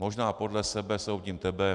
Možná podle sebe soudím tebe.